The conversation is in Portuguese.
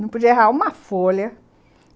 Não podia errar uma folha.